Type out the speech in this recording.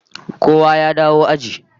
Kowa ya dawo aji